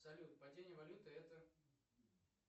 салют падение валюты это